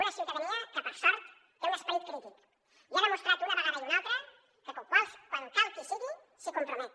una ciutadania que per sort té un esperit crític i ha demostrat una vegada i una altra que quan cal que hi sigui s’hi compromet